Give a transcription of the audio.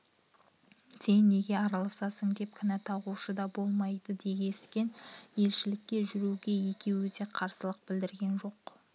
сен неге араласасың деп кінә тағушы да болмайды дескен елшілікке жүруге екеуі де қарсылық білдірген жоқ